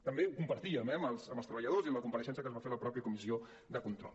també ho compartíem eh amb els treballadors i en la compareixença que es va fer a la mateixa comissió de control